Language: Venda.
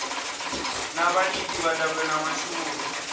na vhalidi vhadabe na mashuvhuru